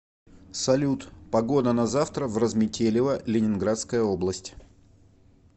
салют погода на завтра в разметелево ленинградская область